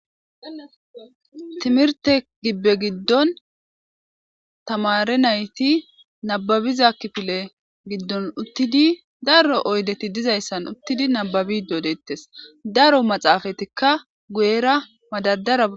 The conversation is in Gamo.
timirte gibbe giddon tamare nayti nababiza kipile giddon uttidi daro oydeti dizayssan uttidi nababi doodettes daro maxaafatikka guyera madadara